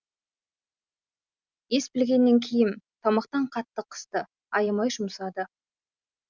ес білгеннен киім тамақтан қатты қысты аямай жұмсады